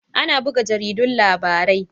Ana buga jaridun labarai